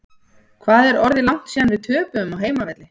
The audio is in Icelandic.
Hvað er orðið langt síðan við töpuðum á heimavelli?